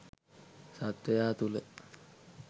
සත්වයා තුළ